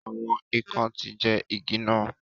Awọn ikán ti jẹ igi nà